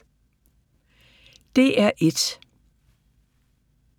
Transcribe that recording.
DR1